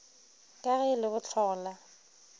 ka ge e le bohlola